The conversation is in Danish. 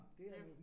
Det